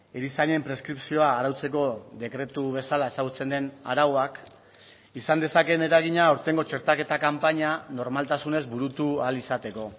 erizainen preskripzioa arautzeko dekretu bezala ezagutzen den arauak izan dezakeen eragina aurtengo txertaketa kanpaina normaltasunez burutu ahal izateko